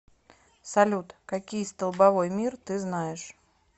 салют какие столбовой мир ты знаешь